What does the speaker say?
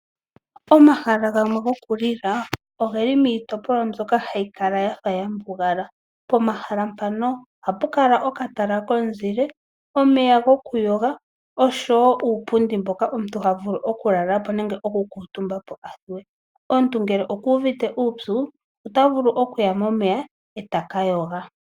Omahala gamwe gokulila ogeli miitopolwa mbyoka hayi kala ya fa ya mbugala. Pomahala mpano ohapu kala okatala komuzile, omeya gokuyoga, oshowo uupundi mboka omuntu ha vulu okulala po nenge okukutumba po a thuwe. Omuntu ngele oku uvite uupyu ota vulu okuya momeya e ta ka yoga.